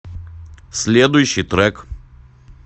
следующий трек